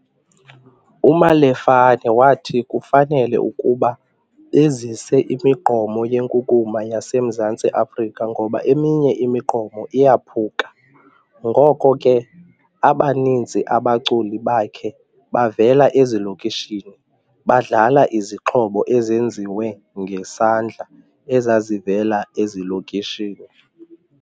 UMalefane wathi kufanele ukuba bezise imigqomo yenkunkuma yaseMzantsi Afrika ngoba eminye imigqomo iyaphuka. Ngoko ke abaninzi abaculi bakhe bavela ezilokishini, badlala izixhobo ezenziwe ngesandla ezazivela ezilokishini.